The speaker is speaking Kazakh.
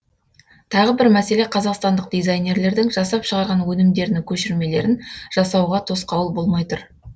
тағы бір мәселе қазақстандық дизайнерлердің жасап шығарған өнімдерінің көшірмелерін жасауға тосқауыл болмай тұр